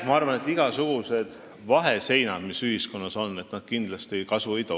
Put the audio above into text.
Ma arvan, et igasugused vaheseinad, mis ühiskonnas on, kindlasti kasu ei too.